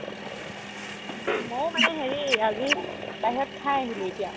মও মানে হেৰি আজি বাহিৰত খাই আহিলো এতিয়া